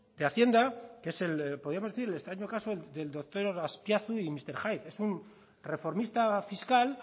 de haciendo que es podríamos decir el extraño caso del doctor azpiazu y mister hyde es una reformista fiscal